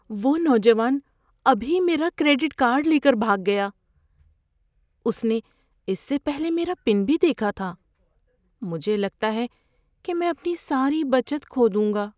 وہ نوجوان ابھی میرا کریڈٹ کارڈ لے کر بھاگ گیا۔ اس نے اس سے پہلے میرا پن بھی دیکھا تھا۔ مجھے لگتا ہے کہ میں اپنی ساری بچت کھو دوں گا۔